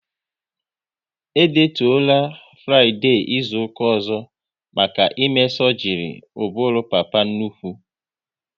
E detuola Fraịdee izuka ọzọ maka ime sọgri ụbụrụ papa nnukwu